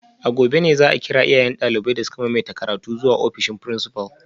A gobe ne za a kira iyayen daliban da suka maimaita karatu zuwa ofishin principal